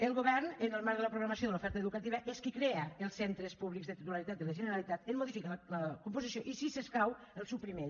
el govern en el marc de la programació de l’oferta educativa és qui crea els centres públics de titularitat de la generalitat en modifica la composició i si s’escau els suprimeix